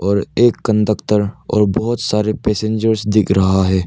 और एक कंडक्टर और बहोत सारे पैसेंजर्स दिख रहा है।